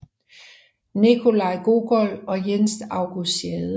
Nikolaj Gogol og Jens August Schade